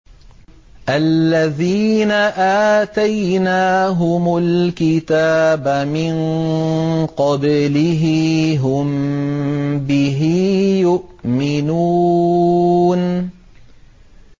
الَّذِينَ آتَيْنَاهُمُ الْكِتَابَ مِن قَبْلِهِ هُم بِهِ يُؤْمِنُونَ